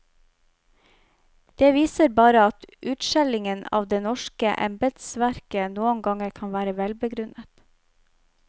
Det viser bare at utskjellingen av det norske embedsverket noen ganger kan være velbegrunnet.